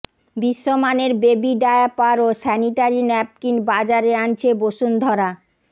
বিশ্বমানের baby diaper ও sanitary napkin বাজারে আনছে বসুন্ধরা